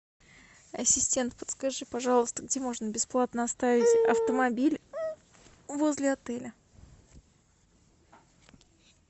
ассистент подскажи пожалуйста где можно бесплатно оставить автомобиль возле отеля